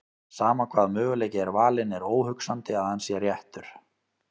Sama hvaða möguleiki er valinn er óhugsandi að hann sé réttur.